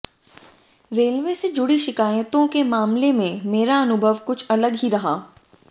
railway से जुड़ी शिकायतों के मामले में मेरा अनुभव कुछ अलग ही रहा